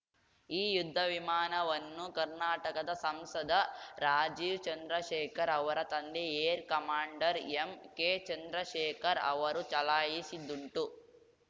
ಈ ಯುದ್ಧ ವಿಮಾನವನ್ನು ಕರ್ನಾಟಕದ ಸಂಸದ ರಾಜೀವ್‌ ಚಂದ್ರಶೇಖರ್‌ ಅವರ ತಂದೆ ಏರ್‌ ಕಮಾಂಡರ್‌ ಎಂಕೆ ಚಂದ್ರಶೇಖರ್‌ ಅವರೂ ಚಲಾಯಿಸಿದ್ದುಂಟು